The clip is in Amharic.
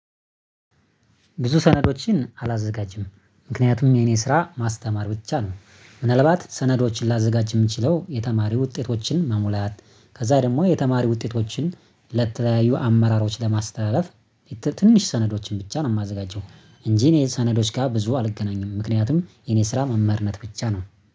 ብዙ ሰነዶችን አላዘጋጅም፤ ምክንያቱም የኔ ስራ ማስተማር ብቻ ነው፤። ምናልባት ሰነዶችን ላዘጋጅ የምችለው የተማሪ ውጤቶችን መሙላት ከዛ ደግሞ የተማሪ ውጤቶችን ለተለያዩ አመራሮች ለማስተላለፍ። ትንሽ ሰነዶችን ብቻ ነው የማዘጋጀው። እንጂ እኔ ሰነዶች ጋር ብዙ አልገናኝም ምክንያቱም የኔ ስራ መምርነት ብቻ ነው